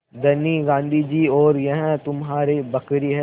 धनी गाँधी जी और यह तुम्हारी बकरी है